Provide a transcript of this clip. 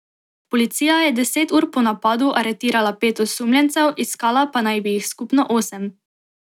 Policija je deset ur po napadu aretirala pet osumljencev, iskala pa naj bi jih skupno osem.